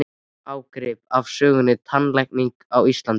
Ágrip af sögu tannlækninga á Íslandi.